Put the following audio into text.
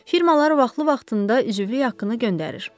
Firmalar vaxtlı-vaxtında üzvülük haqqını göndərir.